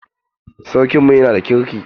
Sarkin mu yana da kirki.